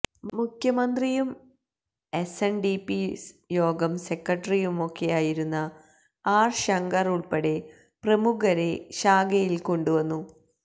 മുഖ്യമന്ത്രിയും S N D P യോഗം സെക്രട്ടറിയുമൊക്കെയായിരുന്ന ആര് ശങ്കര് ഉള്പ്പെടെ പ്രമുഖരെ ശാഖയില് കൊണ്ടുവന്നു